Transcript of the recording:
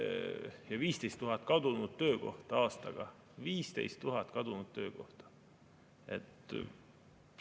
Ja 15 000 kadunud töökohta aastaga, 15 000 kadunud töökohta!